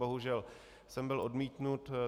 Bohužel jsem byl odmítnut.